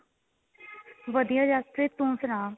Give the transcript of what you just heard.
ਵਧੀਆਂ ਜਸਪ੍ਰੀਤ ਤੂੰ ਸੁਨਾ